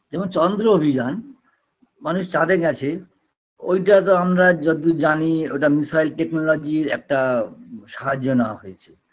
যেমন চন্দ্র অভিযান মানুষ চাঁদে গেছে ঐটাতো আমরা যতদূর জানি ওটা missile technology -র একটা সাহায্য নেওয়া হয়েছে